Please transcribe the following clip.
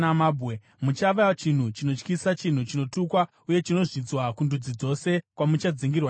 Muchava chinhu chinotyisa, chinhu chinotukwa uye chinozvidzwa kundudzi dzose kwamuchadzingirwa naJehovha.